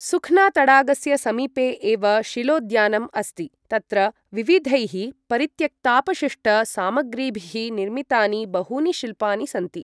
सुख्ना तडागस्य समीपे एव शिलाेद्यानम् अस्ति, तत्र विविधैः परित्यक्तापशिष्टसामग्रीभिः निर्मितानि बहूनि शिल्पानि सन्ति।